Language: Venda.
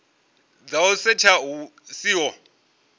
dza u setsha hu siho